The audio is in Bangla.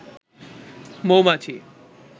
মৌমাছি